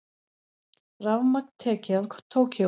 Rafmagn tekið af Tókýó